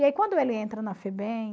E aí quando ele entra na Febem